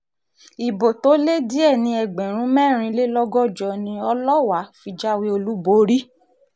ibo tó lé díẹ̀ ní ẹgbẹ̀rún mẹ́rìnlélọ́gọ́jọ ni ọlọ́wà fi jáwé olúborí